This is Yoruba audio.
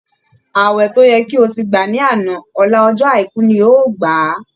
Ààwẹ̀ tó yẹ kí o ti gbà ní àná, ọ̀la ọjọ́ àìkú ni o ó gbà á!